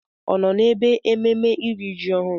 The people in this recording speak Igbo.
Ọ nọ n'ebe ememme iri ji ọhụrụ?